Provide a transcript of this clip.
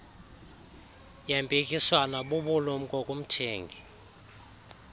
yempikiswano bubulumko kumthengi